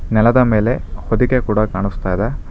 ನೆಲದ ಮೇಲೆ ಹೊದಿಕೆ ಕೂಡ ಕಾಣಿಸ್ತಾ ಇದೆ.